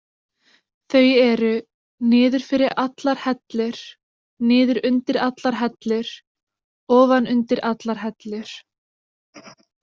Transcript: Þau eru: niður fyrir allar hellur, niður undir allar hellur, ofan undir allar hellur.